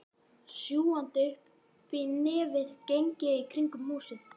Sjúgandi uppí nefið geng ég í kringum húsið.